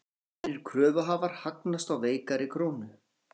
Almennir kröfuhafar hagnast á veikari krónu